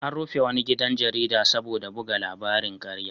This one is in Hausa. An rufe wani gidan jarida saboda buga labarin ƙarya.